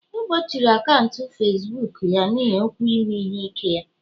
egbochiri akaụntụ Facibuku ya n'ihi okwu ime ihe ike ya